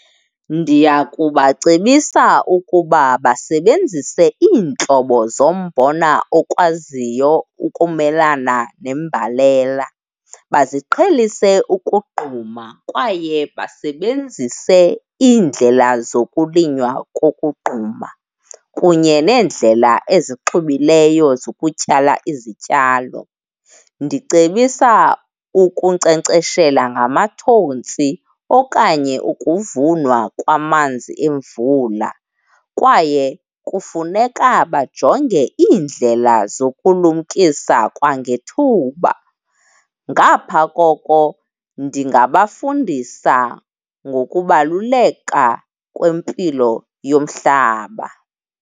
Ndiya kubacebisa ukuba basebenzise iintlobo zombona okwaziyo ukumelana nembalela. Baziqhelise ukogquma kwaye basebenzise iindlela zokulinywa kokugquma kunye neendlela ezixubileyo zokutyala izityalo. Ndicebisa ukunkcenkceshela ngamathontsi okanye ukuvunwa kwamanzi emvula kwaye kufuneka bajonge iindlela zokulumkisa kwangethuba. Ngapha koko ndingabafundisa ngokubaluleka kwempilo yomhlaba.